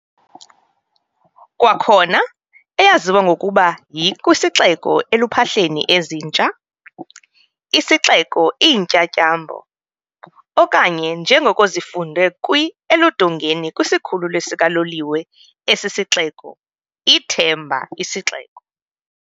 Kwakhona eyaziwa ngokuba yi "kwisixeko eluphahleni ezintsha," "Isixeko Iintyatyambo", okanye njengoko zifundwe kwi eludongeni kwisikhululo sikaloliwe esi sixeko, "ithemba isixeko."